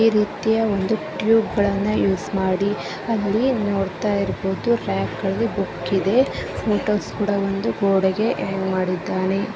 ಈ ರೀತಿಯ ಒಂದು ಟ್ಯೂಬ್ ಗಳನ್ನ ಯೂಸ್ ಮಾಡಿ ಅಲ್ಲಿ ನೋಡ್ತಾ ಇರ್ಬಹುದು ರಾಕ್ ಗಳಲ್ಲಿ ಬುಕ್ ಇದೆ ಫೋಟೋಸ್ ಕೂಡ ಒಂದು ಗೋಡೆ ಗೆ ಹ್ಯಾಂಗ್ ಮಾಡಿದ್ದಾನೆ.